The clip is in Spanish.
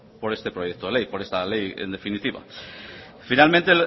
por este proyecto de ley por esta ley en definitiva finalmente